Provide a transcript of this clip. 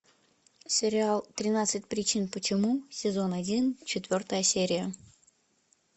сериал тринадцать причин почему сезон один четвертая серия